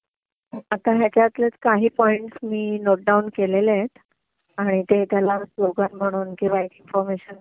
आता ह्याच्यातलेच काही पॉईंट्स मी नोट डाउन केलेले आहेत आणि ते त्याला स्लोगण म्हणून किंवा इन्फॉर्मेशन म्हणून